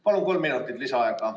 Palun kolm minutit lisaaega!